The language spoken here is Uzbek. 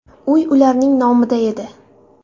Uy ularning nomida edi.